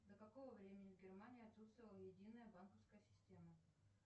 до какого времени в германии отсутствовала единая банковская система